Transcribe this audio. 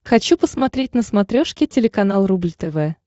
хочу посмотреть на смотрешке телеканал рубль тв